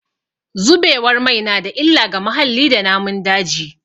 Zubewar mai na da illa ga muhalli da namun daji.